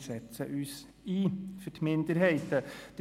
Wir setzen uns für die Minderheiten ein!